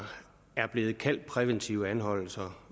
bliver kaldt præventive anholdelser